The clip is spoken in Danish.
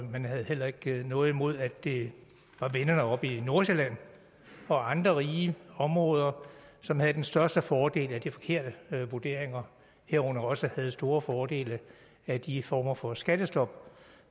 man havde heller ikke noget imod at det var vennerne oppe i nordsjælland og andre rige områder som havde den største fordel af de forkerte vurderinger herunder også havde store fordele af de former for skattestop